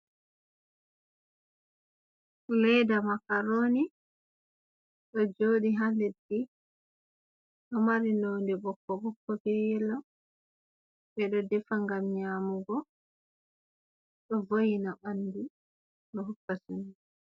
Ledda makaroni do jodi ha leddi do mari londe bokko bokko be yelo, be do defa gam nyamugo do woina bandu do hokka suno.